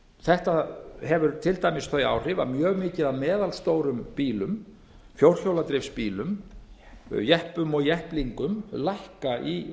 þetta hefur til dæmis þau áhrif að mjög mikið af meðalstórum bílum fjórhjóladrifsbílar jeppum og jepplingar lækkar í